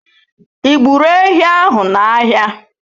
Ị gburu ehi ahụ n'ahịa?